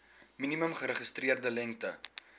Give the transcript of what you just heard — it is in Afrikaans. minimum geregistreerde lengte